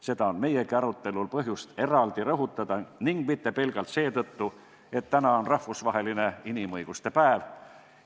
Seda on meiegi arutelul põhjust eraldi rõhutada ning mitte pelgalt seetõttu, et täna on rahvusvaheline inimõiguste päev.